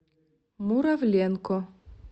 муравленко